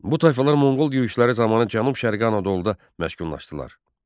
Bu tayfalar Monqol yürüşləri zamanı Cənub-Qərbi Anadoluda məskunlaşdılar.